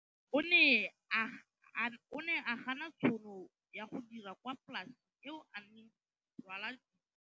O ne a gana tšhono ya go dira kwa polaseng eo a neng rwala diratsuru kwa go yona go di rekisa.